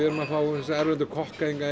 erum að fá þessa erlendu kokka